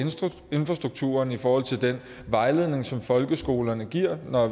infrastrukturen i forhold til den vejledning som folkeskolerne giver